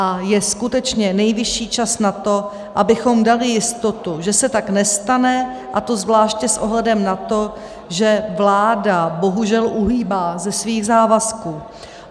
A je skutečně nejvyšší čas na to, abychom dali jistotu, že se tak nestane, a to zvláště s ohledem na to, že vláda bohužel uhýbá ze svých závazků.